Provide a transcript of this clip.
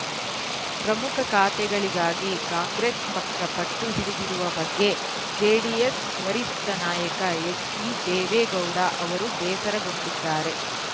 ಪ್ರಮುಖ ಖಾತೆಗಳಿಗಾಗಿ ಕಾಂಗ್ರೆಸ್‌ ಪಕ್ಷ ಪಟ್ಟು ಹಿಡಿದಿರುವ ಬಗ್ಗೆ ಜೆಡಿಎಸ್‌ ವರಿಷ್ಠ ನಾಯಕ ಎಚ್‌ಡಿದೇವೇಗೌಡ ಅವರು ಬೇಸರಗೊಂಡಿದ್ದಾರೆ